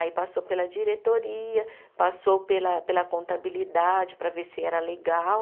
Aí passou pela diretoria, passou pela pela contabilidade para ver se era legal.